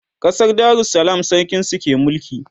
ƙasar darussalam sarkin su ke mulki